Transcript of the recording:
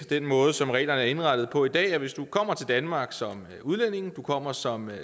den måde som reglerne er indrettet på i dag er rimelige hvis du kommer til danmark som udlænding du kommer som